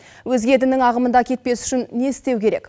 өзге діннің ағымында кетпес үшін не істеу керек